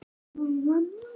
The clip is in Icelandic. Dísa: Og læra.